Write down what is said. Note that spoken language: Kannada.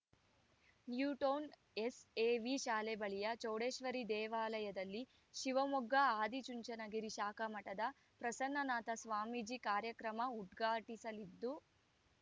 ನ್ಯೂಟೌನ್‌ ಎಸ್‌ಎವಿ ಶಾಲೆ ಬಳಿಯ ಚೌಡೇಶ್ವರಿ ದೇವಾಲಯದಲ್ಲಿ ಶಿವಮೊಗ್ಗ ಆದಿಚುಂಚನಗಿರಿ ಶಾಖಾ ಮಠದ ಪ್ರಸನ್ನನಾಥ ಸ್ವಾಮೀಜಿ ಕಾರ್ಯಕ್ರಮ ಉದ್ಘಾಟಿಸಲಿದ್ದು